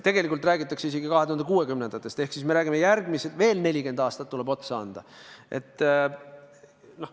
Tegelikult räägitakse isegi 2060. aastatest ehk siis me räägime, et veel järgmised 40 aastat tuleb otsa panna.